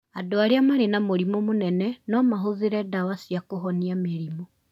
Andũ arĩa marĩ na mũrimũ mũnene no mahũthĩre ndawa cia kũhonia mĩrimũ